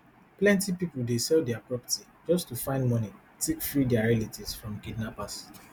plenty pipo dey sell dia property just to find money take free dia relatives from kidnappers